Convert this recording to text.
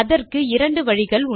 அதற்கு 2 வழிகள்